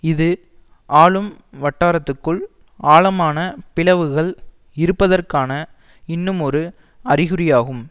இது ஆளும் வட்டாரத்துக்குள் ஆழமான பிளவுகள் இருப்பதற்கான இன்னுமொரு அறிகுறியாகும்